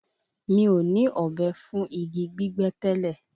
Mi ò ní ọ̀bẹ fún igi gbígbẹ́ tẹ́lẹ̀.